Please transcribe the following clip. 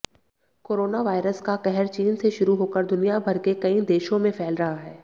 coronavirus का कहर चीन से शुरू होकर दुनियाभर के कई देशों में फैल रहा है